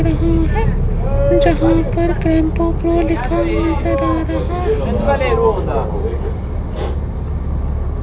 रहा है जहां पर क्रैंपो फ्लो लिखा नजर आ रहा है।